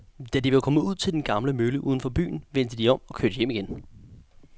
Da de var kommet ud til den gamle mølle uden for byen, vendte de om og kørte hjem igen.